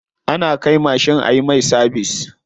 Ana kai mashin ayi mai sabis.